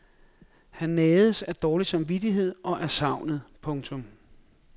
Han nages af dårlig samvittighed og af savnet. punktum